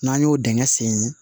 N'an y'o dingɛ sen